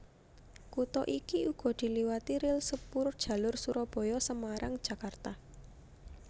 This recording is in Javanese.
Kutha iki uga diliwati ril sepurjalur Surabaya Semarang Jakarta